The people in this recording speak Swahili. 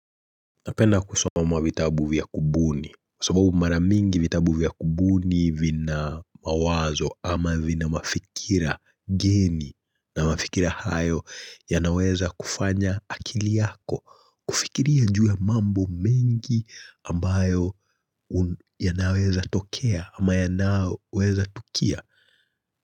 Napenda kusoma vitabu vya kubuni kwa sababu maramingi vitabu vya kubuni vina mawazo ama vina mafikira geni na mafikira hayo ya naweza kufanya akili yako kufikiria juu ya mambo mengi ambayo ya naweza tokea ama yanaoweza tokea.